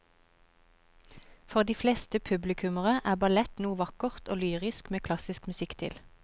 For de fleste publikummere er ballett noe vakkert og lyrisk med klassisk musikk til.